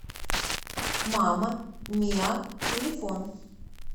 мама миа телефон